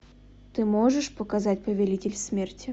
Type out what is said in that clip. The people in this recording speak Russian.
ты можешь показать повелитель смерти